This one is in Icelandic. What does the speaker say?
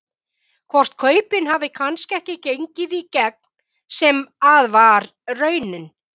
Hvort kaupin hafi kannski ekki gengið í gegn sem að var raunin?